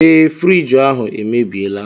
Ee, friiji ahụ emebiela.